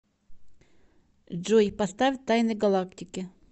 джой поставь тайны галактики